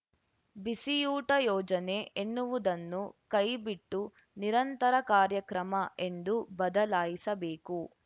ಬಿಸಿಯೂಟ ಯೋಜನೆ ಎನ್ನುವುದನ್ನು ಕೈಬಿಟ್ಟು ನಿರಂತರ ಕಾರ್ಯಕ್ರಮ ಎಂದು ಬದಲಾಯಿಸಬೇಕು